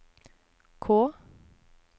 K